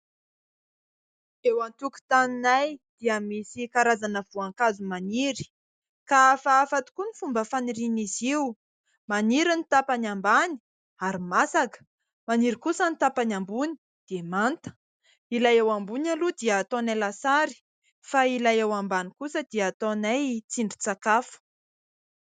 Eo an-tokotaninay dia misy karazana voankazo maniry ka hafahafa tokoa ny fomba fanirian'izy io. Maniry ny tapany ambany ary masaka, maniry kosa ny tapany ambony dia manta. Ilay eo ambony aloha dia ataonay lasary, fa ilay eo ambany kosa dia ataonay tsindrin-tsakafo.